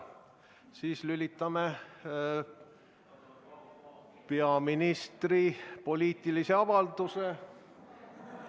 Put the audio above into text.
Siis lülitame peaministri poliitilise avalduse ...